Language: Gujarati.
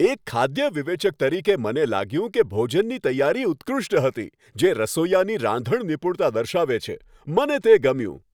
એક ખાદ્ય વિવેચક તરીકે, મને લાગ્યું કે ભોજનની તૈયારી ઉત્કૃષ્ટ હતી, જે રસોઇયાની રાંધણ નિપુણતા દર્શાવે છે. મને તે ગમ્યું.